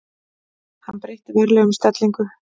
Hann breytti varlega um stellingu.